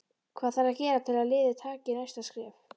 Hvað þarf að gera til að liðið taki næsta skref?